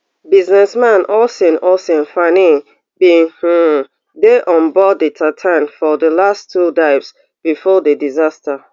businessman oisin oisin fanning bin um dey onboard di titan for di last two dives before di disaster